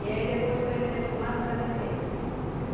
E aí depois, com ele defumado, fazia o quê?